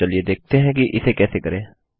चलिए देखते हैं कि इसे कैसे करें